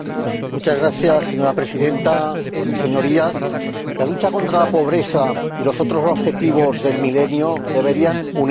Señora Presidenta, Señorías, la lucha contra la pobreza y los otros Objetivos del Milenio deberían unirnos a todos.